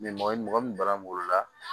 mɔgɔ min bara